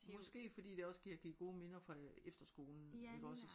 Måske fordi det også giver kan give gode minder fra efterskolen iggås